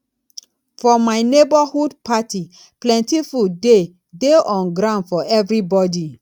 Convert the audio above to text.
for my neborhood party plenty food dey dey on ground for everybodi